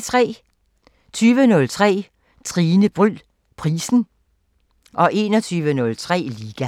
20:03: Tine Bryld Prisen 21:03: Liga